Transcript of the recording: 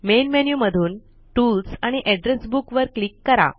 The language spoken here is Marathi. मेन मेन्यु मधून टूल्स आणि एड्रेस बुक वर क्लिक करा